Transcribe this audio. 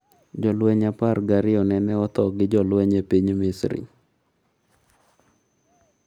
Jolweny apar gi ariyo nene otho gi jolweny e piny Misri